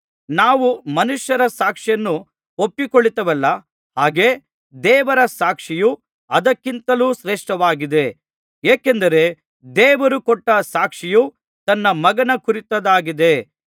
ನಾವು ಮನುಷ್ಯರ ಸಾಕ್ಷಿಯನ್ನು ಒಪ್ಪಿಕೊಳ್ಳುತ್ತೇವಲ್ಲಾ ಹಾಗೆ ದೇವರ ಸಾಕ್ಷಿಯು ಅದಕ್ಕಿಂತಲೂ ಶ್ರೇಷ್ಠವಾಗಿದೆ ಏಕೆಂದರೆ ದೇವರು ಕೊಟ್ಟ ಸಾಕ್ಷಿಯು ತನ್ನ ಮಗನ ಕುರಿತದ್ದಾಗಿದೆ